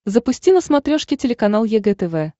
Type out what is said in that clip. запусти на смотрешке телеканал егэ тв